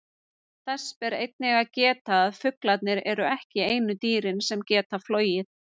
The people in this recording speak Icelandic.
Þess ber einnig að geta að fuglarnir eru ekki einu dýrin sem geta flogið.